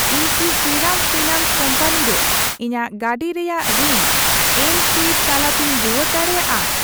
ᱤᱧ ᱠᱤ Shriram finance company ᱨᱮ ᱤᱧᱟᱜ ᱜᱟᱹᱰᱤ ᱨᱮᱭᱟᱜ ᱨᱤᱱ ᱮᱢᱥᱣᱟᱭᱤᱯ ᱛᱟᱞᱟᱛᱮᱧ ᱨᱩᱣᱟᱹᱲ ᱫᱟᱲᱮᱭᱟᱜᱼᱟ ?